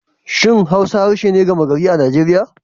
Shin Hausa harshe ne gama gari a Najeriya?